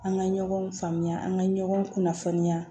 An ka ɲɔgɔn faamuya an ka ɲɔgɔn kunnafoniya